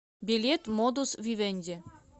билет модус вивенди